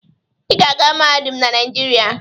Ị ga-aga mahadum na Nigeria.!